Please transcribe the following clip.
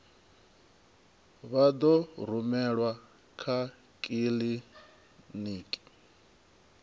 vha ḓo rumelwa kha kiḽiniki